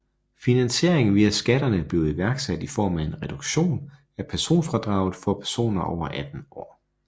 Finansieringen via skatterne blev iværksat i form af en reduktion af personfradraget for personer over 18 år